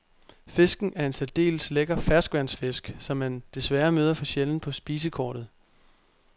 Fisken er en særdeles lækker ferskvandsfisk, som man desværre møder for sjældent på spisekortet.